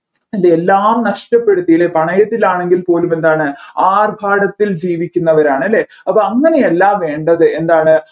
അല്ലെ എല്ലാം നഷ്ടപ്പെടുത്തി അല്ലെ പണയത്തിലാണെങ്കിൽ പോലും എന്താണ് ആർഭാടത്തിൽ ജീവിക്കുന്നവരാണ് അല്ലെ അപ്പോ അങ്ങനെ അല്ല വേണ്ടത് എന്താണ്